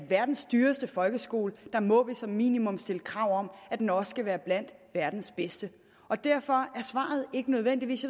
verdens dyreste folkeskole må vi som minimum stille krav om at den også skal være blandt verdens bedste derfor er svaret nødvendigvis